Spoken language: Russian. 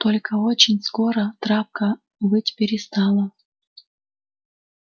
только очень скоро травка выть перестала